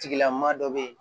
Tigilama dɔ bɛ yen